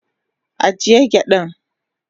agiye gyadan.